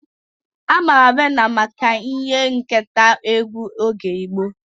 Amara Viena maka ihe nketa egwu oge gboo.